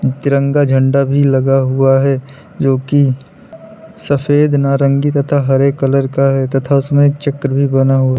तिरंगा झंडा भी लगा हुआ है जो की सफेद नारंगी तथा हरे कलर का है तथा उसमें चक्र भी बना हुआ।